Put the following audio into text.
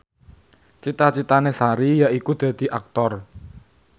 cita citane Sari yaiku dadi Aktor